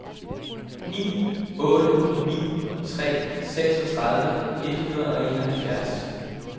ni otte ni tre seksogtredive et hundrede og enoghalvfjerds